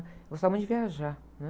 Gostava muito de viajar, né?